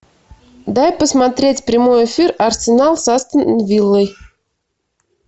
дай посмотреть прямой эфир арсенал с астон виллой